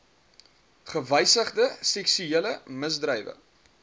gewysigde seksuele misdrywe